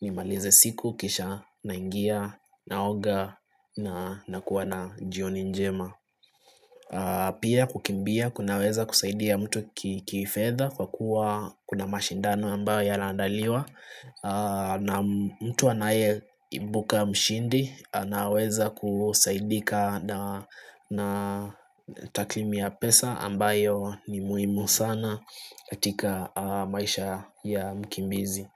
ni malize siku kisha naingia naoga na kuwa na jioni njema Pia kukimbia kunaweza kusaidia mtu kifedha kwa kuwa kuna mashindano ambayo yanaandaliwa na mtu anaye ibuka mshindi naweza kusaidika na taklimi ya pesa ambayo ni muimu sana katika maisha ya mkimbizi.